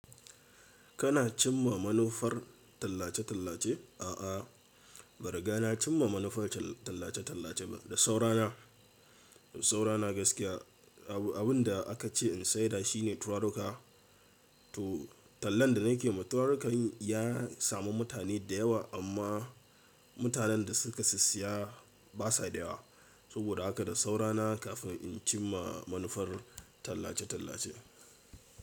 Kana cimma manufar tallace-tallace? A'a, ban riga na cimma manufar tallace-tallace ba. Da saurana, da saurana gaskiya. Abin da aka ce in sayar shine turaruka. To, tallan da nake yi, turarukan ya samu mutane da yawa amma mutanen da suka sissiya basa da yawa. Saboda haka da saurana kafin in cimma manufar tallace-tallace.